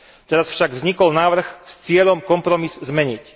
Teraz však vznikol návrh s cieľom kompromis zmeniť.